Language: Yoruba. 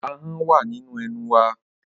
Ahọ́n wà nínú ẹnu wa.